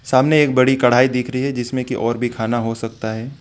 सामने एक बड़ी कढ़ाई दिख रही है जिसमें की और भी खाना हो सकता है।